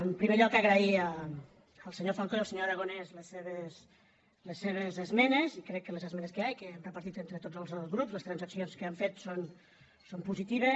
en primer lloc agrair al senyor falcó i al senyor aragonès les seves esmenes i crec que les esmenes que hi ha i que hem repartit entre tots els grups les transaccions que hem fet són positives